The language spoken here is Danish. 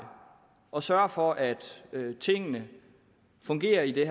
og sørger for at tingene fungerer i